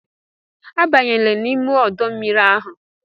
Abanyela n'ime ọdọ mmiri ahụ!